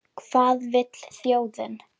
Hvað vill þjóðin?